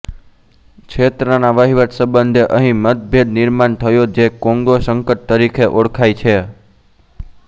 ક્ષેત્રના વહીવટ સંબંધે અહીં મતભેદ નિર્માણ થયો જે કોંગો સંકટ તરીખે ઓળખાય છે